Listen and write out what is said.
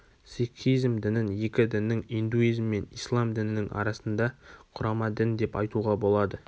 сикхизм дінін екі діннің индуизм мен ислам дінінің арасында құрама дін деп айтуға болады